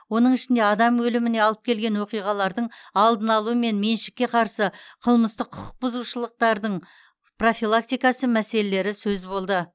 оның ішінде адам өліміне алып келген оқиғалардың алдын алу мен меншікке қарсы қылмыстық құқық бұзушылықтардың профилактикасы мәселелері сөз болды